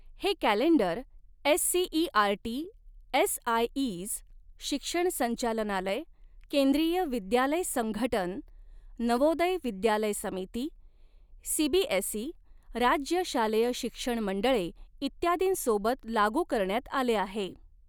हे calendar SCERT SIEs, शिक्षण संचालनालय, केंद्रीय विद्यालय संघटन, नवोदय विद्यालय समिती, सीबीएसई, राज्य शालेय शिक्षण मंडळे इत्यादींसोबत लागू करण्यात आले आहे.